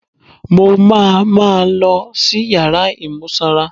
Mo máa ma lọ sí yàrá imú sanra.